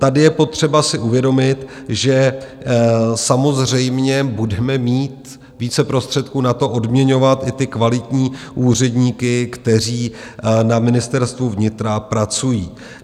Tady je potřeba si uvědomit, že samozřejmě budeme mít více prostředků na to, odměňovat i ty kvalitní úředníky, kteří na Ministerstvu vnitra pracují.